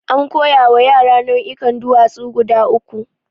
An koya wa yara nau'ikan duwatsu guda uku.